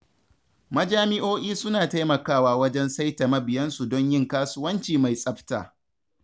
Majami'o'i suna taimakwa wajen saita mabiyansu don yin kasuwanci mai tsafta